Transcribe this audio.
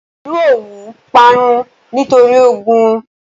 Ìlú Òwú parun nítorí ogun.